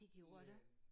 Det gjorde der